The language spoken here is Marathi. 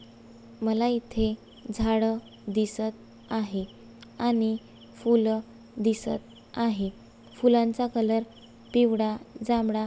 मला इथे झाड दिसत आहे आणि फूल दिसत आहे. फूलांचा कलर पिवळा जांभळा --